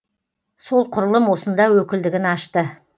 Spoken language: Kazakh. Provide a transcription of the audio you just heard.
сол құрылым осында өкілдігін ашты